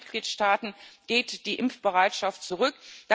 In allen Mitgliedstaaten geht die Impfbereitschaft zurück.